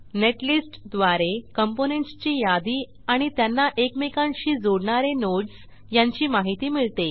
netlist द्वारे components ची यादी आणि त्यांना एकमेकांशी जोडणारे नोड्स यांची माहिती मिळते